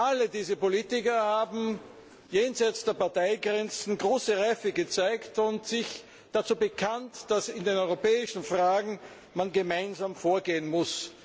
Alle diese Politiker haben jenseits der Parteigrenzen große Reife gezeigt und sich dazu bekannt, dass man in den europäischen Fragen gemeinsam vorgehen muss.